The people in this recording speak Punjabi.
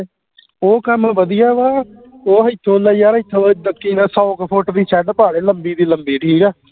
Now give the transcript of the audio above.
ਉਹ ਕੰਮ ਵਧੀਆ ਵਾ ਉਹ ਹਿਥੋ ਦਾ ਯਾਰ ਹਿਥੋ ਇਦਾ ਕਿਹੜਾ ਸੌ ਕ ਫੁਟ ਦੀ shed ਪਾ ਲੇ ਲੰਬੀ ਦੀ ਲੰਬੀ ਠੀਕ ਆ